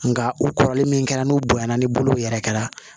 Nka u kɔrɔlen min kɛra n'u bonya na ni bolo yɛrɛ kɛra